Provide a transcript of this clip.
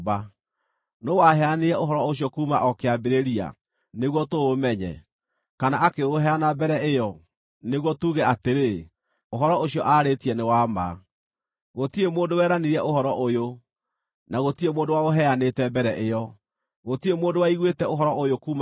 Nũũ waheanire ũhoro ũcio kuuma o kĩambĩrĩria, nĩguo tũũmenye; kana akĩũheana mbere ĩyo, nĩguo tuuge atĩrĩ, ‘Ũhoro ũcio aarĩtie nĩ wa ma’? Gũtirĩ mũndũ weranire ũhoro ũyũ, na gũtirĩ mũndũ waũheanĩte mbere ĩyo, gũtirĩ mũndũ waiguĩte ũhoro ũyũ kuuma kũrĩ inyuĩ.